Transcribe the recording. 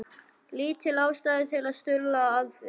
Lítil ástæða til að stuðla að því.